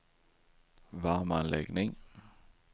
värmeanläggning